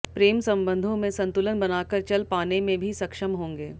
प्रेम संबंधों में संतुलन बनाकर चल पाने में भी सक्षम होंगे